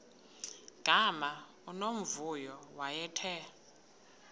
gama unomvuyo wayethe